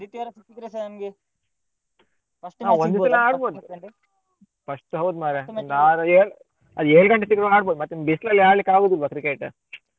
ಆದಿತ್ಯವಾರ ಸಿಕ್ಕಿದ್ರೆಸ ನಮ್ಗೆ first ಹೌದ್ ಮಾರ್ರೆ ಮಾಡ್ಬೋದು ಮತ್ತೆ ನಿಮ್ಗ್ ಬಿಸ್ಲಲ್ಲಿ ಆಡಲಿಕ್ಕಾಗುದಿಲ್ವ cricket .